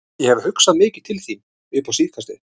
Ég hef hugsað mikið til þín upp á síðkastið.